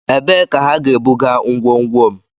Ebee ka ha ga-ebuga ngwongwo m?